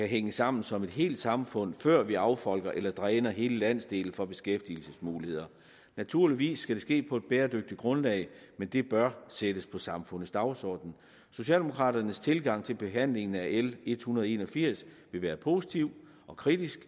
hænge sammen som et helt samfund før vi affolker eller dræner hele landsdele for beskæftigelsesmuligheder naturligvis skal det ske på et bæredygtigt grundlag men det bør sættes på samfundets dagsorden socialdemokraternes tilgang til behandlingen af l en hundrede og en og firs vil være positiv og kritisk